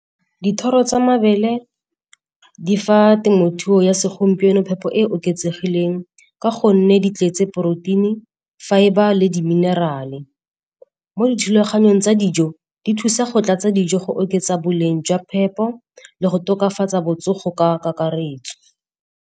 Dithoro tsa mabele di fa temothuo ya segompieno phepo e e oketsegileng ka gonne di tletse poroteini, fibre le di minerale. Mo dithulaganyong tsa dijo, di thusa go tlatsa dijo go oketsa boleng jwa phepo le go tokafatsa botsogo ka kakaretso.